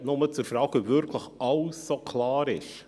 Nur zur Frage, ob wirklich alles so klar ist: